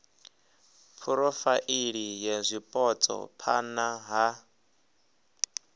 phurofaili ya zwipotso phana ha